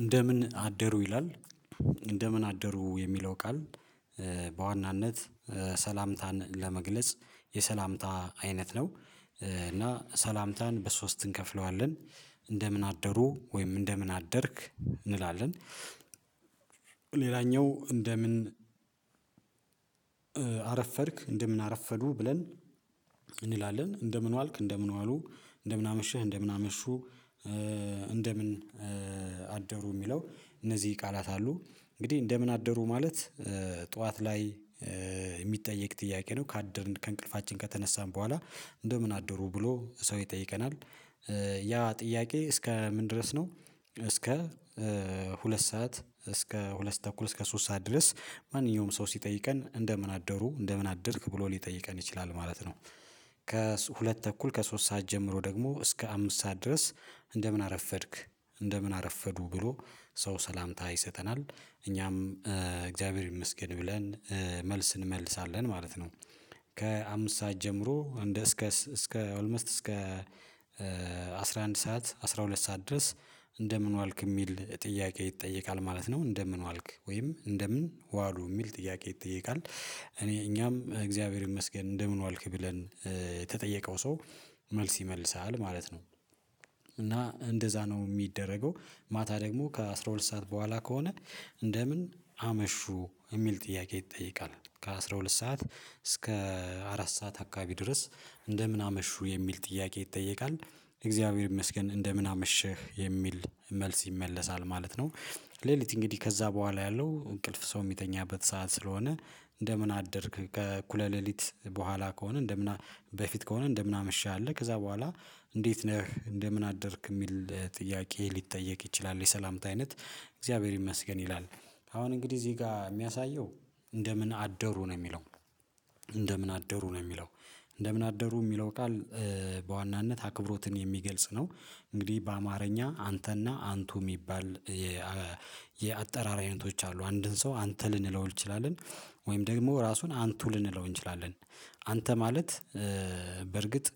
እንደምን አደሩ ይላል እንደምን አደሩ የሚለው ቃል በዋናነት ሰላምታን ለመግለጽ የሰላምታ አይነት ነው። እና ሰላምታን በሶስት እንከፍለዋለን እንደምን አደሩ ወይም እንደምን አደርክ እንላለን። እንደምን አረፈድክ እንደምን አረፈዱ ብለን እንላለን እንደምን ዋልክ እንደምን ዋሉ እንደምን አመሽህ እንደምን አመሹ። እንደምን አደሩ የሚለው እነዚህ ቃላት አሉ። እንግዲህ እንደምን አደሩ ማለት ጠዋት ላይ የሚጠየቅ ጥያቄ ነው ካደርን ከእንቅልፋችን ከተነሳን በኋላ እንደምን አደሩ ብሎ ሰው ይጠይቀናል። ያ ጥያቄ እስከ ምን ድረስ ነው እስከ ሁለት ሰዓት እስከ ሁለት ተኩል እስከ ሶስት ሰዓት ድረስ ማንኛውም ሰው ሲጠይቀን እንደምን አደሩ እንደምን አደርክ ብሎ ሊጠይቀን ይችላል ማለት ነው። ከሁለት ተኩል ከሶስት ሰዓት ጀምሮ ደግሞ እስከ አምስት ሰዓት ድረስ እንደምን አረፈድክ እንደምን አረፈዱ ብሎ ሰው ሰላምታ ይሰጠናል እኛም እግዚአብሔር ይመስገን ብለን መልስ እንመልሳለን ማለት ነው። ከአምስት ሰዓት ጀምሮ እንደ እስከስ እስከ ኦልሞስት እስከ አስራ አንድ ሰዓት አስራ ሁለት ሰዓት ድረስ። እንደምን ዋልክ የሚል ጥያቄ ይጠየቃል ማለት ነው እንደምን ዋልክ ወይም እንደምን ዋሉ የሚል ጥያቄ ይጠየቃል እኔ እኛም እግዚአብሔር ይመስገን እንደምን ዋልክ ብለን የተጠየቀው ሰው መልስ ይመልሳል ማለት ነው። እና እንደዛ ነው የሚደረገው ማታ ደግሞ ከአሥራ ሁለት ሰዓት በኋላ ከሆነ እንደምን አመሹ የሚል ጥያቄ ይጠይቃል ከአሥራ ሁለት ሰዓት እስከ አራት ሰዓት አካባቢ ድረስ እንደምን አመሹ የሚል ጥያቄ ይጠይቃል እግዚአብሔር ይመስገን እንደምን አመሸህ የሚል መልስ ይመለሳል ማለት ነው። ሌሊት እንግዲህ ከዛ በኋላ ያለው እንቅልፍ ሰው የሚተኛበት ሰዓት ስለሆነ እንደምን አደርክ ከእኩለ ሌሊት በኋላ ከሆነ እንደምን በፊት ከሆነ እንደምን አመሸህ ከዛ በኋላ እንዴት ነህ እንደምን አደርክ የሚል ጥያቄ ሊጠየቅ ይችላል። የሰላምታ አይነት እግዚአብሔር ይመስገን ይላል። አሁን እንግዲህ እዚህ ጋር የሚያሳየው እንደምን አደሩ ነው የሚለው እንደምን አደሩ ነው የሚለው እንደምን አደሩ የሚለው ቃል በዋናነት አክብሮትን የሚገልጽ ነው። እንግዲህ በአማርኛ አንተና አንቱ የሚባል የአጠራር አይነቶች አሉ አንድን ሰው አንተ ልንለው እንችላለን። ወይም ደግሞ ራሱን አንቱ ልንለው እንችላለን። አንተ ማለት በርግጥ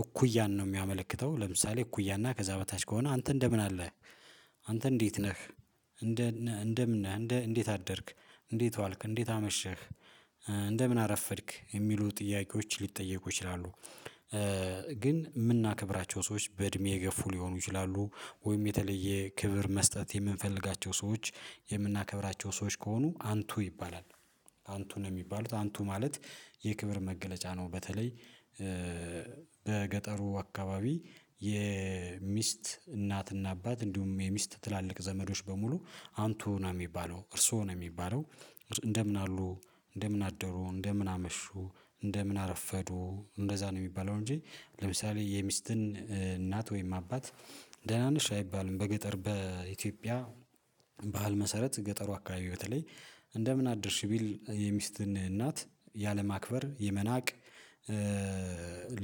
እኩያን ነው የሚያመለክተው ለምሳሌ እኩያና ከዛ በታች ከሆነ አንተ እንደምን አለህ አንተ እንዴት ነህ እንደነህ እንደምን ነህ እንደ እንዴት አደርክ እንዴት ዋልክ እንዴት አመሸህ እንደምን አረፈድክ የሚሉ ጥያቄዎች ሊጠየቁ ይችላሉ። ግን የምናከብራቸው ሰዎች በእድሜ የገፉ ሊሆኑ ይችላሉ ወይም የተለየ ክብር መስጠት የምንፈልጋቸው ሰዎች ሰዎች ከሆኑ አንቱ ይባላል። አንቱ ነው የሚባሉት አንቱ ማለት የክብር መገለጫ ነው። በተለይ በገጠሩ አካባቢ የሚስት እናትና አባት እንዲሁም የሚስት ትላልቅ ዘመዶች በሙሉ አንቱ ነው የሚባለው እርስዎ ነው የሚባለው። እንደምን አሉ እንደምን አደሩ እንደምን አመሹ እንደምን አረፈዱ እንደዛ ነው የሚባለው እንጂ። ለምሳሌ የሚስትን እናት ወይም አባት ደህና ነሽ አይባልም በገጠር በኢትዮጵያ ባህል መሰረት ገጠሩ አካባቢ በተለይ እንደምን አደርሽ ቢል የሚስትን እናት ያለማክበር የመናቅ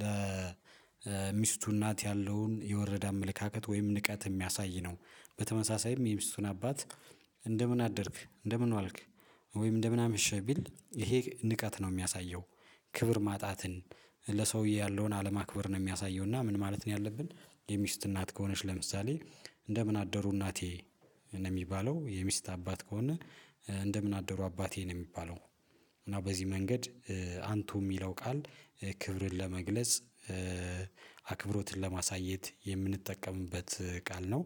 ለሚስቱ እናት ያለውን የወረደ አመለካከት ወይም ንቀት የሚያሳይ ነው። በተመሳሳይ የሚስቱን አባት እንደምን አደርክ እንደምን ዋልክ ወይም እንደምን አመሸህ ቢል ይሄ ንቀት ነው የሚያሳየው። ክብር ማጣትን ለሰውዬ ያለውን አለማክበር ነው የሚያሳየው እና ምን ማለት ነው ያለብን? የሚስት እናት ከሆነች ለምሳሌ እንደምን አደሩ እናቴ ነው የሚባለው የሚስት አባት ከሆነ እንደምን አደሩ አባቴን ነው የሚባለው። እና በዚህ መንገድ አንቱ የሚለው ቃል ክብርን ለመግለጽ አክብሮትን ለማሳየት የምንጠቀምበት ቃል ነው።